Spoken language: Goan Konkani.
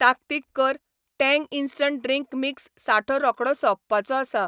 ताकतीक कर, टँग इन्स्टंट ड्रिंक मिक्स सांठो रोखडो सोंपपाचो आसा